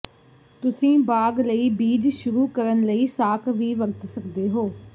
ਤੁਸੀਂ ਬਾਗ ਲਈ ਬੀਜ ਸ਼ੁਰੂ ਕਰਨ ਲਈ ਸਾਕ ਵੀ ਵਰਤ ਸਕਦੇ ਹੋ